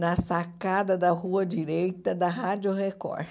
na sacada da rua direita da Rádio Record.